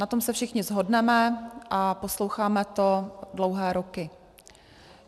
Na tom se všichni shodneme a posloucháme to dlouhé roky.